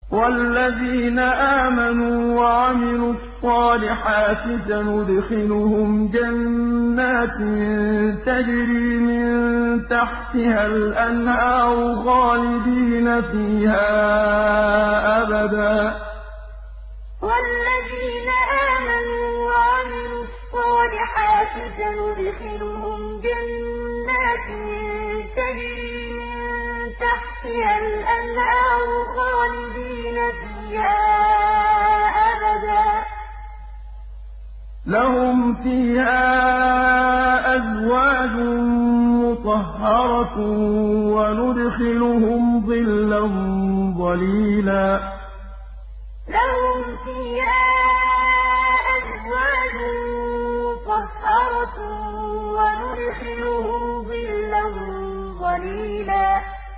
وَالَّذِينَ آمَنُوا وَعَمِلُوا الصَّالِحَاتِ سَنُدْخِلُهُمْ جَنَّاتٍ تَجْرِي مِن تَحْتِهَا الْأَنْهَارُ خَالِدِينَ فِيهَا أَبَدًا ۖ لَّهُمْ فِيهَا أَزْوَاجٌ مُّطَهَّرَةٌ ۖ وَنُدْخِلُهُمْ ظِلًّا ظَلِيلًا وَالَّذِينَ آمَنُوا وَعَمِلُوا الصَّالِحَاتِ سَنُدْخِلُهُمْ جَنَّاتٍ تَجْرِي مِن تَحْتِهَا الْأَنْهَارُ خَالِدِينَ فِيهَا أَبَدًا ۖ لَّهُمْ فِيهَا أَزْوَاجٌ مُّطَهَّرَةٌ ۖ وَنُدْخِلُهُمْ ظِلًّا ظَلِيلًا